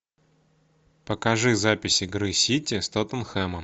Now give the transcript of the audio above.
покажи запись игры сити с тоттенхэмом